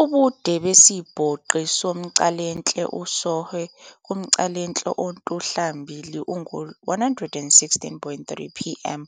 Ubude besibhobqi somcalahle-sOhwe kumcalahle ontuhlambili ungu-116.3 pm,